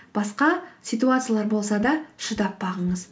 басқа ситуациялар болса да шыдап бағыңыз